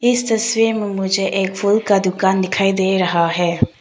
इस तस्वीर में मुझे एक फूल का दुकान दिखाई दे रहा है।